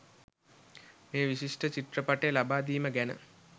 මේ විශිෂ්ට චිත්‍රපටය ලබා දීම ගැන.